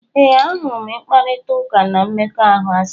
Ee, ahụrụ m ịkparịta ụka n' mmekọahụ asị.